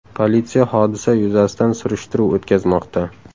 Politsiya hodisa yuzasidan surishtiruv o‘tkazmoqda.